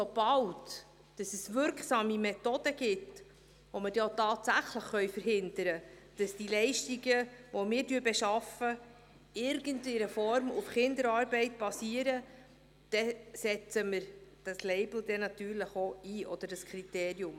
Sobald es wirksame Methoden gibt, mit denen wir dann auch tatsächlich verhindern können, dass die Leistungen, die wir beschaffen, in irgendeiner Form auf Kinderarbeit basieren, setzen wir dieses Label oder dieses Kriterium natürlich dann auch ein.